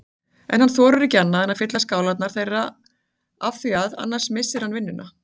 En hann þorir ekki annað en að fylla skálarnar þeirra afþvíað annars missir hann vinnuna.